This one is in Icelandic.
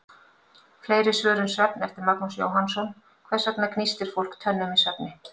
Fleiri svör um svefn, eftir Magnús Jóhannsson: Hvers vegna gnístir fólk tönnum í svefni?